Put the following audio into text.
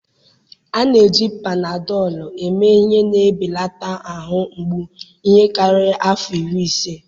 A na-eji Panadọlụ eme ihe na-ebelata ahụ mgbu ihe karịrị afọ iri ise.